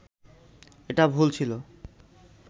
এটা ভুল ছিল